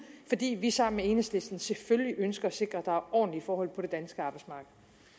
fordi vi sammen med enhedslisten selvfølgelig ønsker at sikre at er ordentlige forhold på det danske arbejdsmarked